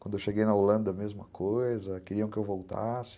Quando eu cheguei na Holanda, mesma coisa, queriam que eu voltasse.